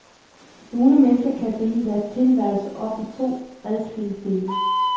Nogle mennesker kan dele deres tilværelse op i to adskilte dele.